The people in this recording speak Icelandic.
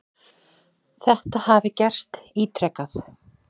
Þetta hafi gerst ítrekað.